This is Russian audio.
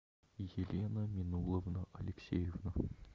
елена минуловна алексеева